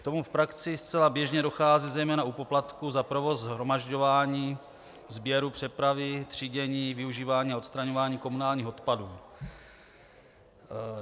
K tomu v praxi zcela běžně dochází, zejména u poplatků za provoz shromažďování, sběru, přepravy, třídění, využívání a odstraňování komunálních odpadů.